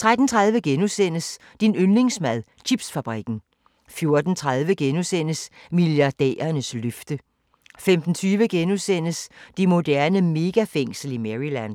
13:30: Din yndlingsmad: Chipsfabrikken * 14:30: Milliardærernes løfte * 15:20: Det moderne megafængsel i Maryland *